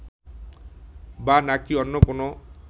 বা নাকী অন্য কোনও